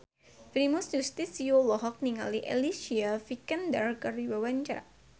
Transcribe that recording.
Primus Yustisio olohok ningali Alicia Vikander keur diwawancara